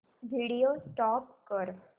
video stop कर